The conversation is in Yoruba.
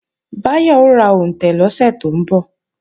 Báyọ̀ ó ra òǹtẹ̀ lọ́sẹ̀ tó ń bọ̀